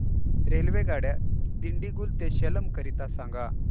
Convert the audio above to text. रेल्वेगाड्या दिंडीगुल ते सेलम करीता सांगा